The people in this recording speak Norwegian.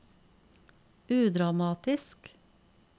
udramatisk